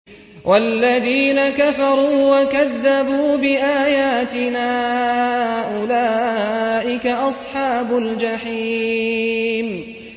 وَالَّذِينَ كَفَرُوا وَكَذَّبُوا بِآيَاتِنَا أُولَٰئِكَ أَصْحَابُ الْجَحِيمِ